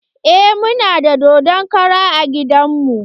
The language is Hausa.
Eh muna da dodon kara a gidan mu.